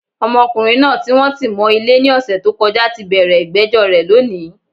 Ọmọkùnrin naa tí wọ́n ti mọ̀ Ilé ní òsè t'ó kọjá tí bẹ̀rẹ̀ ìgbéjó rè lónìí